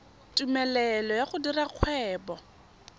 tumelelo ya go dira kgwebo